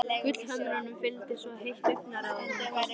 Gullhömrunum fylgdi svo heitt augnaráð að honum krossbrá.